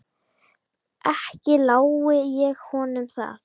Ekki lái ég honum það.